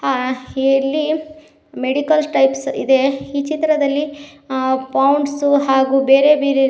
ಹಾ ಹಿಲ್ಲಿ medical types ಇದೆ ಈ ಚಿತ್ರದಲ್ಲಿ ಅ ಪೌಂಡ್ಸು ಹಾಗು ಬೇರೆ ಬೇರೆ ರೀ--